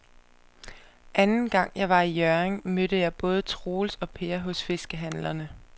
Anden gang jeg var i Hjørring, mødte jeg både Troels og Per hos fiskehandlerne.